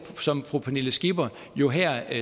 som fru pernille skipper jo her